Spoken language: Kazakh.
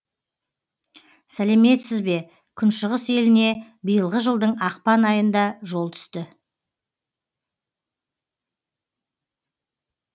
сәлеметсізбе күншығыс еліне биылғы жылдың ақпан айында жол түсті